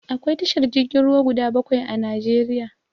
Akwai tashar jirgin ruwa guda bakwai a Najeriya.